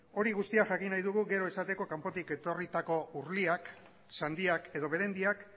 hori guztia jakin nahi dugu gero esateko kanpotik etorritako urliak sandiak edo berendiak